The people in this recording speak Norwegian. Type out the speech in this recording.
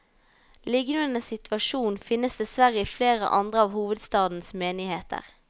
Lignende situasjon finnes dessverre i flere andre av hovedstadens menigheter.